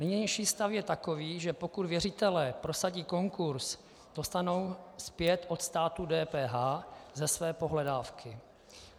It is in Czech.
Nynější stav je takový, že pokud věřitelé prosadí konkurz, dostanou zpět od státu DPH ze své pohledávky.